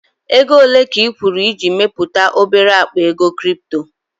Ego ole ka ị kwụrụ iji mepụta obere akpa ego crypto?